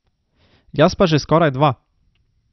Jaz pa že skoraj dva.